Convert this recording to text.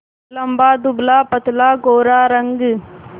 लंबा दुबलापतला गोरा रंग